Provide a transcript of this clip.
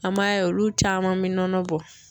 An m'a ye olu caman be nɔnɔ bɔ